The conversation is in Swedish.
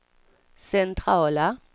centrala